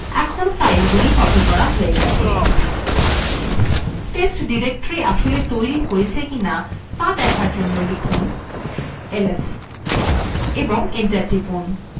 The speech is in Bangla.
এখন ফাইলগুলি copied করা হয়ে গেছে test directory আসলে তৈরী হয়েছে কিনা দেখার জন্য লিখুনls এবং enter টিপুন